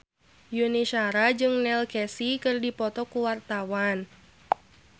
Yuni Shara jeung Neil Casey keur dipoto ku wartawan